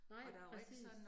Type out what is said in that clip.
Nej, præcis